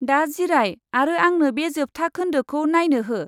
दा जिराय आरो आंनो बे जोबथा खोनदोखौ नायनो हो।